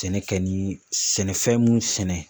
Sɛnɛ kɛ ni sɛnɛfɛn mun sɛnɛ